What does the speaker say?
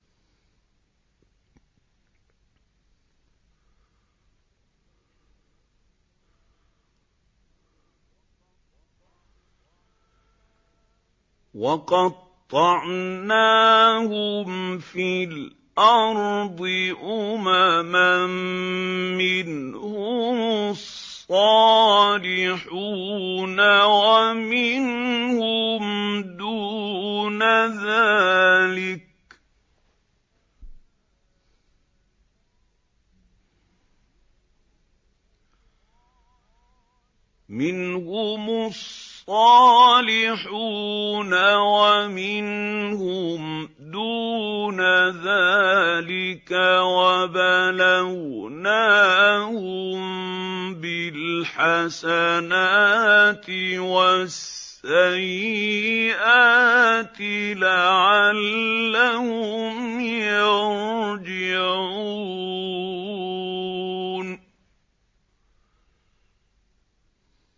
وَقَطَّعْنَاهُمْ فِي الْأَرْضِ أُمَمًا ۖ مِّنْهُمُ الصَّالِحُونَ وَمِنْهُمْ دُونَ ذَٰلِكَ ۖ وَبَلَوْنَاهُم بِالْحَسَنَاتِ وَالسَّيِّئَاتِ لَعَلَّهُمْ يَرْجِعُونَ